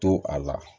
To a la